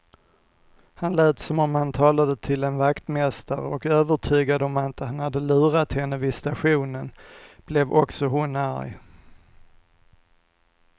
Han lät som om han talade till en vaktmästare, och övertygad om att han hade lurat henne vid stationen blev också hon arg.